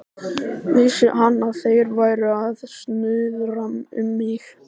Vissi hann, að þeir væru að snuðra um mig?